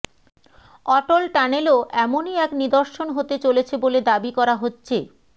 অটল টানেলও এমনই এক নির্দশন হতে চলেছে বলে দাবি করা হচ্ছে